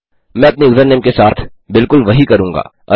मैं अपने यूज़रनेम के साथ बिलकुल वही करूँगा